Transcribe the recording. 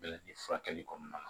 Bɛlɛ ni furakɛli kɔnɔna na